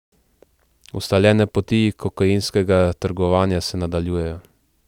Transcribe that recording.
Ustaljene poti kokainskega trgovanja se nadaljujejo.